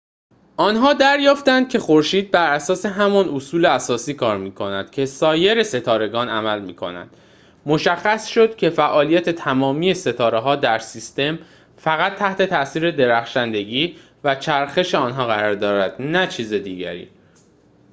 آنها دریافتند که خورشید بر اساس همان اصول اساسی کار می‌کند که سایر ستارگان عمل می‌کنند مشخص شد که فعالیت تمامی ستاره‌ها در سیستم فقط تحت تاثیر درخشندگی و چرخش آنها قرار دارد نه چیز دیگری